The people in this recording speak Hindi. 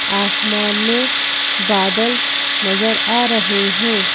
आसमान में बादल नजर आ रहे हैं।